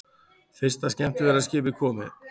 Fyrsta skemmtiferðaskipið komið